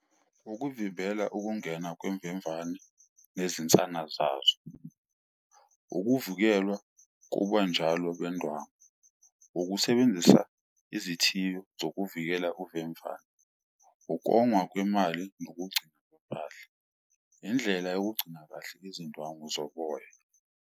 Ukuvimbela ukungena kwemvemvane nezinsana zazo, ukuvukelwa kubanjalo bendwangu, ukusebenzisa izithiyo zokuvikela uvemvane, ukongwa kwemali nokugcinwa kwempahla, indlela yokugcina kahle izindwangu zoboya.